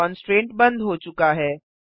constraint बंद हो चुका है